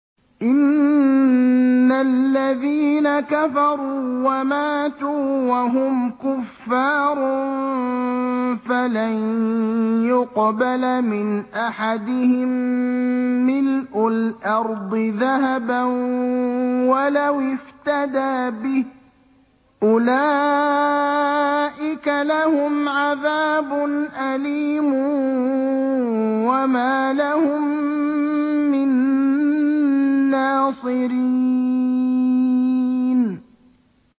إِنَّ الَّذِينَ كَفَرُوا وَمَاتُوا وَهُمْ كُفَّارٌ فَلَن يُقْبَلَ مِنْ أَحَدِهِم مِّلْءُ الْأَرْضِ ذَهَبًا وَلَوِ افْتَدَىٰ بِهِ ۗ أُولَٰئِكَ لَهُمْ عَذَابٌ أَلِيمٌ وَمَا لَهُم مِّن نَّاصِرِينَ